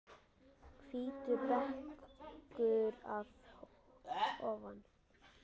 Hvítur bekkur að ofan.